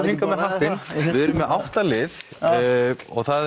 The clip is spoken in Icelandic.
hingað með hattinn við erum með átta lið og það